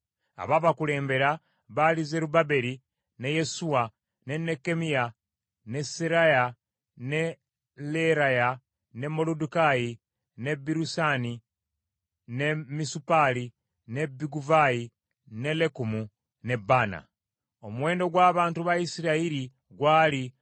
Abaabakulembera baali Zerubbaberi, ne Yesuwa, ne Nekkemiya , ne Seraya, ne Leeraya, ne Moluddekaayi, ne Birusani, ne Misupaali, ne Biguvaayi, ne Lekumu, ne Baana. Omuwendo gw’abantu ba Isirayiri gwali: